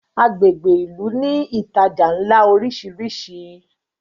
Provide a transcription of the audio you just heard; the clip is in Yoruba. agbègbè ilú ní ìtajà nlá orisiri